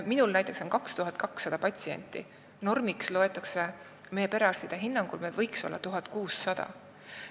Minul näiteks on 2200 patsienti, normiks loetakse meie perearstide hinnangul 1600.